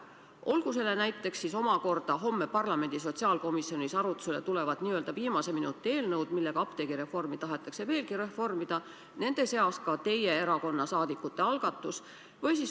Olgu selle näiteks homme parlamendi sotsiaalkomisjonis arutusele tulevad n-ö viimase minuti eelnõud, millega apteegireformi tahetakse veelgi muuta ja mille seas on ka teie erakonna saadikute algatus.